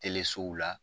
la